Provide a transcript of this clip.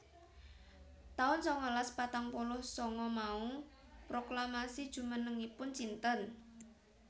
taun sangalas patang puluh sanga Mao proklamasi jumenengipun Cinten